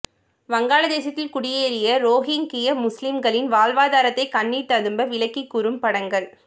வங்காளதேசத்தில் குடியேறிய ரோஹிங்கிய முஸ்லீம்களின் வாழ்வாதாரத்தை கண்ணீர் ததும்ப விளக்கி கூறும் படங்கள்